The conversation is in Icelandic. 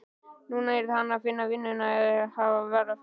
Núna yrði hann að finna vinnu eða hafa verra af.